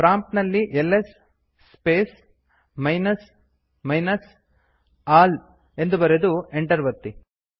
prompt ನಲ್ಲಿ LS space minus minus all ಎಂದು ಬರೆದು ಎಂಟರ್ ಒತ್ತಿ